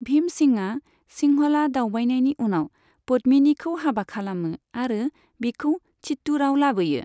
भीमसिंहआ सिंहला दावबायनायनि उनाव पद्मिनिखौ हाबा खालामो आरो बिखौ चित्तूरआव लाबोयो।